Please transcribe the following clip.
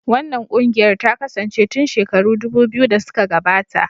Wannan ƙungiyar ta kasance tun shekaru dubu biyu da suka gabata.